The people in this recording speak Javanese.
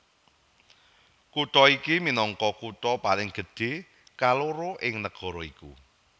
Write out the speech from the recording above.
Kutha iki minangka kutha paling gedhé kaloro ing nagara iku